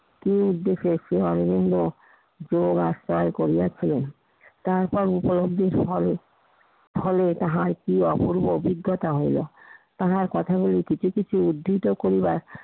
তিনি উদ্দেশ্য শ্রী অরবিন্দ পুরো রাস্তায় করিয়াছিলেন। তারপর উপলব্ধিত হলে~ হলে তাহার কি অপূর্ব অভিজ্ঞতা হইলো। তাহার কথাগুলি কিছু কিছু উদ্ধৃতি করিবার